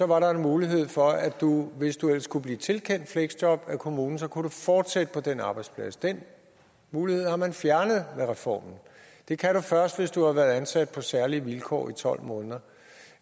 var der en mulighed for at du hvis du ellers kunne blive tilkendt fleksjob af kommunen kunne fortsætte på den arbejdsplads den mulighed har man fjernet med reformen det kan du først hvis du har været ansat på særlige vilkår i tolv måneder